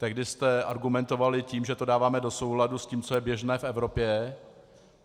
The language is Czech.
Tehdy jste argumentovali tím, že to dáváme do souladu s tím, co je běžné v Evropě.